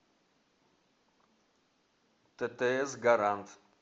ттс гарант